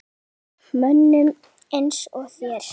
Mönnum eins og þér?